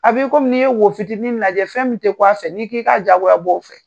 A b'i ko minn'i ye wofitiinin lajɛ fɛn min tɛ bƆ a fɛ n'i k'i ka jagoya b'o a fɛ